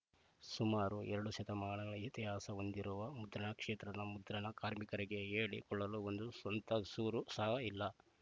ಸುಮಾರು ಎರಡು ಶತಮಾನಗಳ ಇತಿಹಾಸ ಹೊಂದಿರುವ ಮುದ್ರಣ ಕ್ಷೇತ್ರದ ಮುದ್ರಣ ಕಾರ್ಮಿಕರಿಗೆ ಹೇಳಿಕೊಳ್ಳಲು ಒಂದು ಸ್ವಂತ ಸೂರು ಸಹ ಇಲ್ಲ